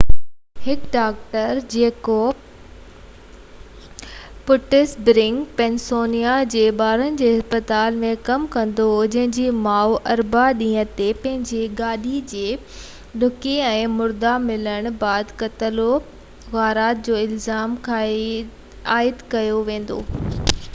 اوهاوي اختيارين چيو ته هڪ ڊاڪٽر جيڪو پٽس برگ پنسلوانيا جي ٻارن جي اسپتال ۾ ڪم ڪندو هو جنهن جي ماءُ اربع ڏينهن تي پنهنجي گاڏي جي ڊڪي ۾ مرده ملڻ بعد قتل و غارت جو الزام عائد ڪيو ويندوئ